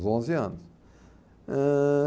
Os onze anos. Eh...